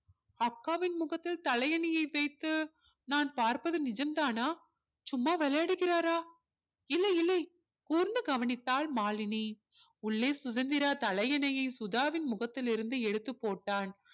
அக்காவின் முகத்தில் தலையணையை வைத்து நான் பார்ப்பது நிஜம்தானா சும்மா விளையாடுகிறாரோ இல்லை இல்லை கூர்ந்து கவனித்தால் மாலினி உள்ளே சுதந்திரா தலையணையை சுதாவின் முகத்தில் இருந்து எடுத்து போட்டான்